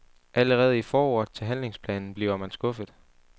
Allerede i forordet til handlingsplanen bliver man skuffet.